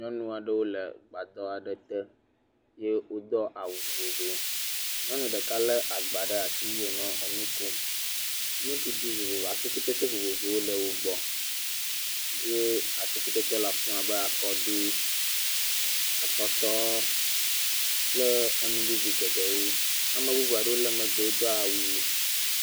Nyɔnu aɖewo le gbadɔ aɖe te ye wodo awu vovovowo. Nyɔnu ɖeka lé agbã ɖe asi eye wonɔ nu kom. Nuɖuɖu vovovo, atikutsetse vovovowo le wo gbɔ ye atikutsetse le afi ma abe akɔɖu, atɔtɔ kpe nu bubu geɖewo. Ame bubu aɖewo le megbe wodo awu ʋi.